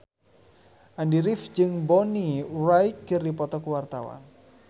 Andy rif jeung Bonnie Wright keur dipoto ku wartawan